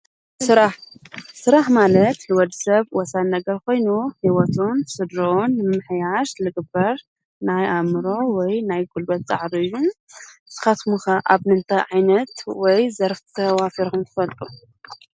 ስራሕ፡ ስራሕ ማለት ንወዲሰብ ወሳኒ ነገር ኮይኑ ሂወቱን ስድርኡን ንምምሕያሽ ዝግበር ናይ ኣእምሮ ወይ ናይ ጉልበት ፃዕሪ እዩ፡፡ ንስካትኩም ከ ኣብ ምንታይ ዓይነት ወይ ዘርፊ ተዋፊርኩም ትፈልጡ?